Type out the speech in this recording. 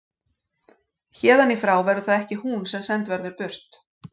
Héðan í frá verður það ekki hún sem send verður burt.